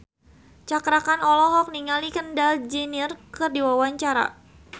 Cakra Khan olohok ningali Kendall Jenner keur diwawancara